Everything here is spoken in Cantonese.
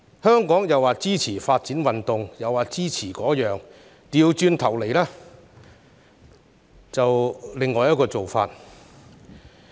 香港口說支持發展運動，行動上卻是另一回事。